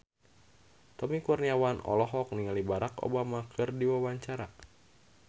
Tommy Kurniawan olohok ningali Barack Hussein Obama keur diwawancara